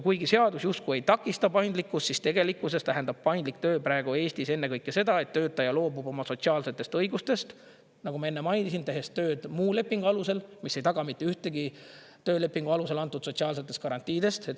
Kuigi seadus justkui ei takista paindlikkust, siis tegelikkuses tähendab paindlik töö praegu Eestis ennekõike seda, et töötaja loobub oma sotsiaalsetest õigustest, nagu ma enne mainisin, tehes tööd muu lepingu alusel, mis ei taga mitte ühtegi töölepingu alusel antud sotsiaalsetest garantiidest.